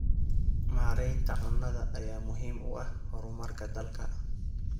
Maareynta cunnada ayaa muhiim u ah horumarka dalka.